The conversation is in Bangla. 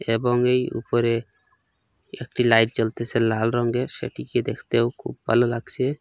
এবং এই উপরে একটি লাইট জ্বলতেছে লাল রঙ্গের সেটিকে দেখতেও খুব ভালো লাগসে ।